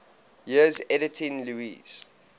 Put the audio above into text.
years editing lewes's